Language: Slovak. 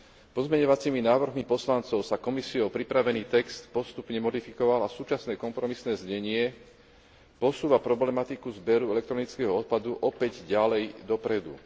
Pozmeňujúcimi návrhmi poslancov sa Komisiou pripravený text postupne modifikoval a súčasné kompromisné znenie posúva problematiku zberu elektronického odpadu opäť ďalej dopredu.